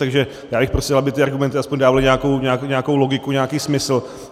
Takže já bych prosil, aby ty argumenty aspoň dávaly nějakou logiku, nějaký smysl.